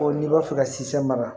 n'i b'a fɛ ka si sɛbɛn